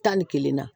Tan ni kelenna